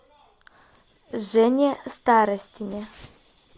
жене старостине